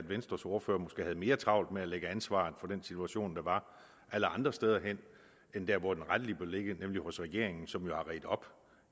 venstres ordfører måske havde mere travlt med at lægge ansvaret for den situation der var alle andre steder hen end der hvor det rettelig bør ligge nemlig hos regeringen som jo har redt op